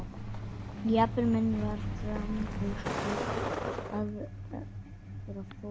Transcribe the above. Jarpur minn var framfús og tók óðara forustuna.